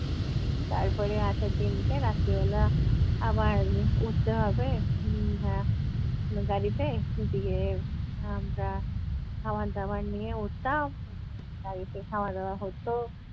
তারপরে আসার দিন কে রাত্তি বেলা আবার উঠতে হবে উহ আহ গাড়িতে গিয়ে আমরা খাবার দাবার নিয়ে উঠতাম, গাড়িতে খাওয়া দাওয়া হত।